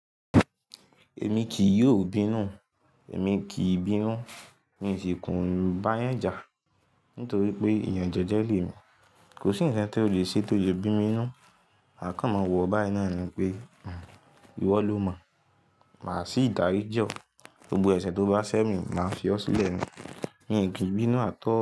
Èmi kì yóò bínú, èmi kì í bínú, mi ò sì kùn báyan jà. Nítorí pé ìyànjẹ jẹ́je le mi, kò sí ǹkan tó le ṣe tó le bí mi ninú. Makàn ma wọ̀ oo báyii náà ni pé, ìwọ lo mọ̀, màá sì dárí jọ̀, gbogbo ẹ̀ṣẹ̀ tó bá ṣẹ́ mi, màá fi ọ́ sílẹ̀ ni, mi ò kì í bínú at all.